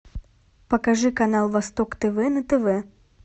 покажи канал восток тв на тв